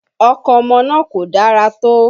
Ọkàn ọmọ náà kò dára tó